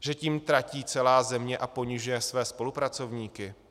Že tím tratí celá země a ponižuje svoje spolupracovníky?